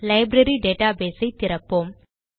library database ஐ திறப்போம்